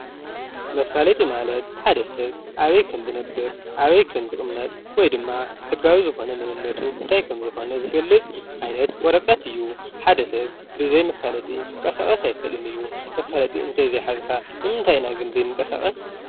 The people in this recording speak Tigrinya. መፋለጢ ማለት ሓደ ሰብ ኣበይ ከምዝነብር ኣበይ ከምዝቅመጥ ወይ ድማ ሕጋዊ ዝኮነ መንነቱ እንታይ ከምዝኮነ ዝገልፅ ዓይነት ወረቀት እዩ ሓደ ሰብ ብዘይ መፋለጢ ክንቀሳቀስ ኣይክእልን እዩ መፋለጢ እንተዘይ ሓዝካ ንምንታይ ኢና ግን ዘይንቀሳቀስ?